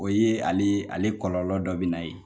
O ye ale ale kɔlɔlɔ dɔ bi na yen.